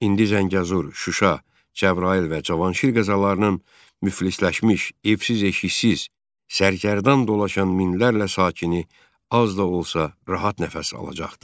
İndi Zəngəzur, Şuşa, Cəbrayıl və Cavanşir qəzalarının müflisləşmiş, evsiz-eşiksiz, sərkərdan dolaşan minlərlə sakini az da olsa rahat nəfəs alacaqdır.